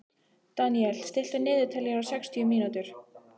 Daniel, stilltu niðurteljara á sextíu mínútur.